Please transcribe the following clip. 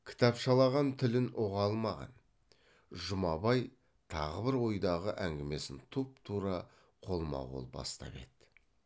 кітапшылаған тілін ұға алмаған жұмабай тағы бір ойдағы әңгімесін тұп тура қолма қол бастап еді